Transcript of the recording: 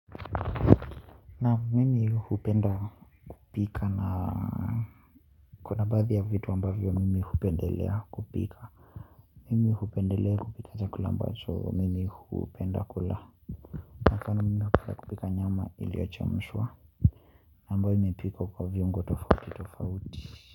Naam, mimi hupenda kupika na kuna baadhi ya vitu ambavyo mimi hupendelea kupika. Mimi hupendelea kupika chakula ambacho mimi hupenda kula. Hasaa mimi hupenda kupika nyama iliyochemshwa ambayo imepikwa kwa viungo tofauti tofauti.